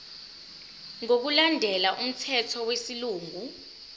ngokulandela umthetho wesilungu